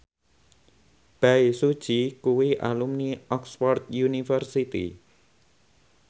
Bae Su Ji kuwi alumni Oxford university